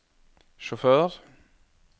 sjåfør